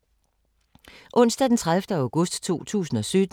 Onsdag d. 30. august 2017